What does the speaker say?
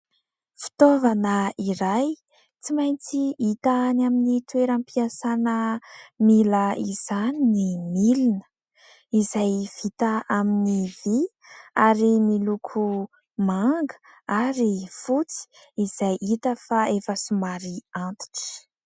Fitaovana iray tsy maintsy hita any amin'ny toeram-piasana mila izany ny milina, izay vita amin'ny vy ary miloko manga ary fotsy izay hita fa efa somary antitra.